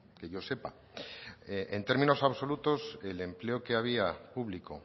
que yo sepa en términos absolutos el empleo que había público